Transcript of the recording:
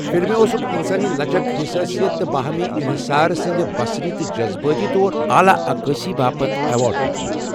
فلمہِ اوسُکھ 'انسٲنی لچک، حساسیت تہٕ باہمی انحصار سٕنٛدِ بصری تہٕ جذبٲتی طور اعلیٰ عکاسی' باپت ایوارڈ دِیُتمُت۔